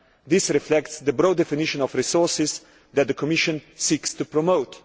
This reflects the broad definition of resources that the Commission seeks to promote.